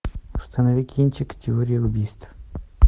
установи кинчик теория убийств